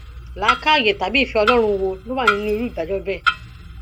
làákàyè tàbí ìfẹ ọlọrun wo ló wà nínú irú ìdájọ bẹẹ